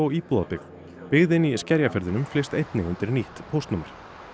íbúðabyggð byggðin í Skerjafirðinum flyst einnig undir nýtt póstnúmer